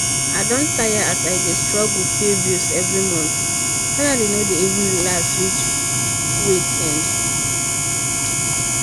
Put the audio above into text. i don tire as i dey struggle pay bills every month — salary no dey even last reach week end.